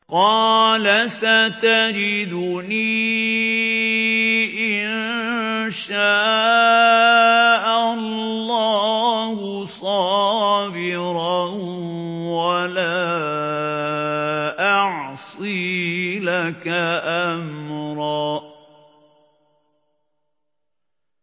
قَالَ سَتَجِدُنِي إِن شَاءَ اللَّهُ صَابِرًا وَلَا أَعْصِي لَكَ أَمْرًا